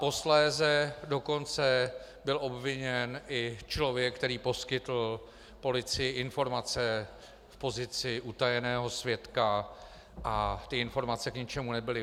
Posléze dokonce byl obviněn i člověk, který poskytl policii informace v pozici utajeného svědka, a ty informace k ničemu nebyly.